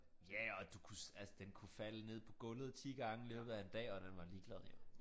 Ja og du kunne altså den kunne falde ned på gulvet 10 gange i løbet af en dag og den var ligeglad jo